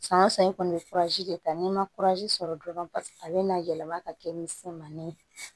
San o san i kɔni i bɛ de ta n'i ma sɔrɔ dɔrɔn a bɛna yɛlɛma ka kɛ misɛnmanin ye